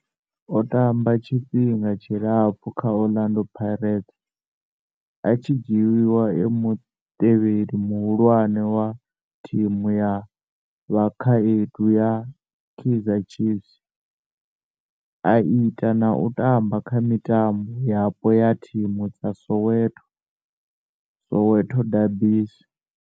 O tamba tshifhinga tshilapfhu kha Orlando Pirates, a tshi dzhiiwa e mutevheli muhulwane wa thimu ya vhakhaedu ya Kaizer Chiefs, a ita na u tamba kha mitambo yapo ya thimu dza Soweto, Soweto derbies.